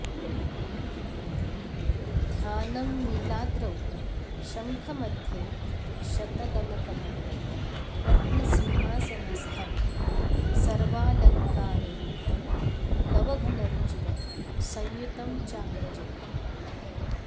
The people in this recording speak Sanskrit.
ध्यानम् नीलाद्रौ शङ्खमध्ये शतदलकमले रत्नसिंहासनस्थं सर्वालङ्कारयुक्तं नवघनरुचिरं संयुतं चाग्रजेन